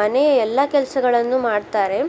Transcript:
ಮನೆ ಎಲ್ಲಾ ಕೆಲ್ಸಗಳನ್ನು ಮಾಡ್ತಾರೆ.